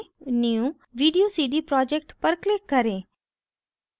new video cd project पर click करें